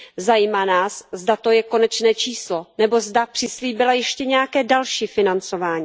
Zajímá nás, zda to je konečné číslo, nebo zda přislíbila ještě nějaké další financování.